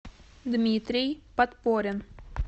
дмитрий подпорин